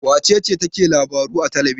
Wace ce take labaru a talbijin?